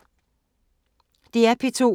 DR P2